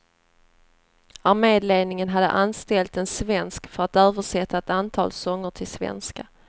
Arméledningen hade anställt en svensk för att översätta ett antal sånger till svenska.